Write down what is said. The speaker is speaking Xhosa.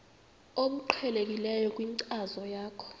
obuqhelekileyo kwinkcazo yakho